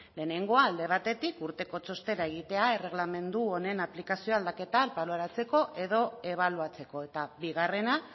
lehenengoa alde batetik urteko txostena egitea erregelamendu honen aplikazio aldaketa baloratzeko edo ebaluatzeko eta bigarrena